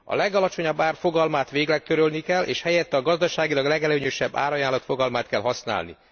A legalacsonyabb ár fogalmát végleg törölni kell, és helyette a gazdaságilag legelőnyösebb árajánlat fogalmát kell használni.